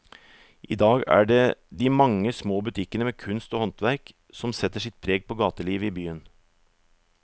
I dag er det de mange små butikkene med kunst og håndverk som setter sitt preg på gatelivet i byen.